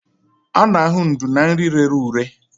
A na-ahụ ndú na nri rere ure.